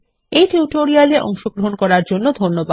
এই টিউটোরিয়াল এ অংশগ্রহন করার জন্য ধন্যবাদ